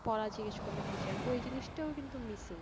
পড়া জিজ্ঞেস করলে teacher ওই জিনিসটা ও কিন্তু missing